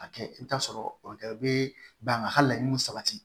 A kɛ i bɛ t'a sɔrɔ o bɛ ban ka laɲiniw sabati